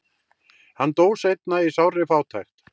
hann dó seinna í sárri fátækt